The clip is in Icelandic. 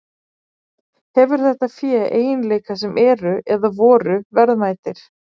Hefur þetta fé eiginleika sem eru, eða voru, verðmætir?